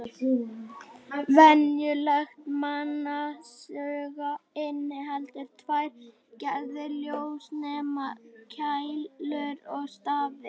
Venjulegt mannsauga inniheldur tvær gerðir ljósnema: Keilur og stafi.